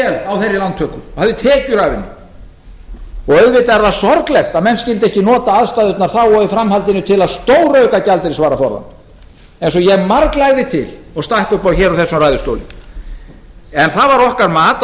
vel á þeirri lántöku hafði tekjur af henni og auðvitað er það sorglegt að menn skyldu ekki nota aðstæðurnar þá og í framhaldinu til þess að stórauka gjaldeyrisvaraforðann eins og ég marglagði til og stakk upp á hér úr þessum ræðustóli en það var okkar mat á